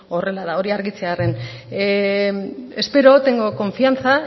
horrela da hori argitzearren espero tengo confianza